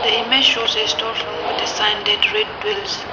the image shows a store from we designed at red twills.